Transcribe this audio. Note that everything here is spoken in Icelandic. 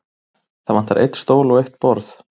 Það vantar einn stól og eitt borð.